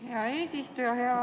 Hea eesistuja!